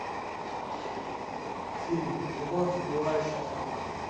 фильм любовь сбивающая с ног